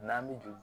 N'an bɛ juru